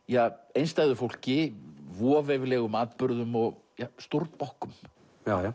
einstæðu fólki voveiflegum atburðum og stórbokkum já